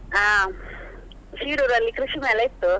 ಅಹ್ Shiroor ಲ್ಲಿ ಕೃಷಿ ಮೇಳ ಇತ್ತು.